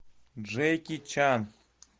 джеки чан